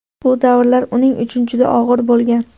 Bu davrlar uning uchun juda og‘ir bo‘lgan.